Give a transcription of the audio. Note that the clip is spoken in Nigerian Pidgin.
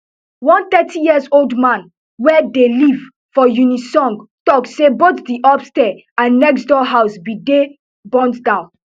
one thirty years old man wey dey live for uniseong tok say both di upstair and next door house bin dey burnt down